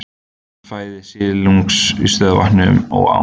Fæða silungs í stöðuvötnum og ám.